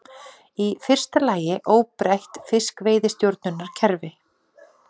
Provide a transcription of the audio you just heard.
Í fyrsta lagi óbreytt fiskveiðistjórnunarkerfi